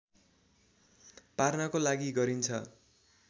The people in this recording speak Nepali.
पार्नको लागि गरिन्छ